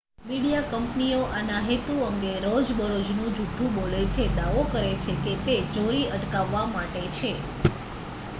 "Media કંપનીઓ આના હેતુ અંગે રોજબરોજ જુઠ્ઠું બોલે છે દાવો કરે છે કે તે "ચોરી અટકાવવા" માટે છે.